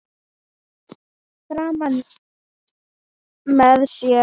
Frímann með sér.